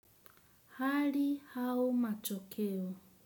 Hali au matokeo.